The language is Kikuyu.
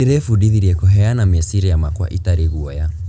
Ndĩrebundithirie kũheana meciria makwa itarĩ guoya.